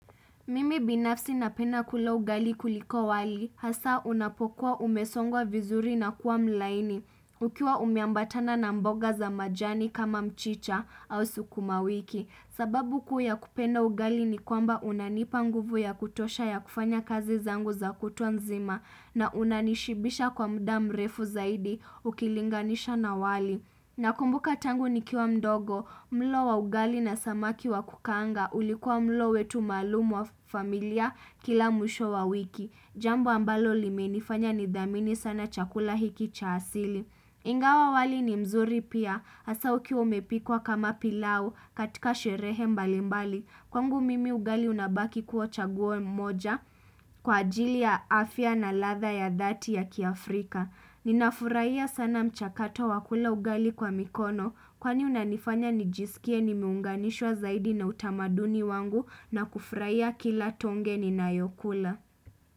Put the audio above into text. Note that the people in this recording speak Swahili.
Mimi binafsi napenda kula ugali kuliko wali, hasa unapokuwa umesongwa vizuri na kuwa mlaini, ukiwa umeambatana na mboga za majani kama mchicha au sukuma wiki. Sababu kuu ya kupenda ugali ni kwamba unanipa nguvu ya kutosha ya kufanya kazi zangu za kutwa nzima na unanishibisha kwa muda mrefu zaidi ukilinganisha na wali. Na kumbuka tangu ni kiwa mdogo, mlo wa ugali na samaki wa kukaanga ulikuwa mlo wetu maalumu wa familia kila mwisho wa wiki. Jambo ambalo limeni fanya nidhamini sana chakula hiki cha asili. Ingawa wali ni mzuri pia, asa ukiwa umepikwa kama pilau katika sherehe mbalimbali. Kwangu mimi ugali unabaki kuwa chaguo moja kwa ajili ya afya na ladha ya dhati ya kiafrika. Nina furahia sana mchakato wakula ugali kwa mikono kwani unanifanya nijisikie nimeunganishwa zaidi na utamaduni wangu na kufraia kila tonge ni nayokula.